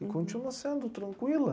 E continua sendo tranquila.